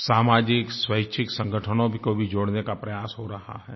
सामाजिक स्वैच्छिक संगठनों को भी जोड़ने का प्रयास हो रहा है